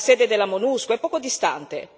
La sede della MONUSCO è poco distante.